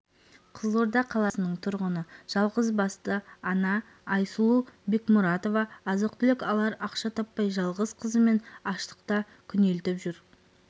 қызылорда қаласының тұрғыны жалғызбасты ана айсұлу бекмұратова азық-түлік алар ақша таппай жалғыз қызымен аштықта күнелтіп жүр